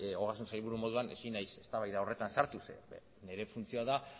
ogasun sailburu moduan ezin naiz eztabaida horretan sartu ze nire funtzioa da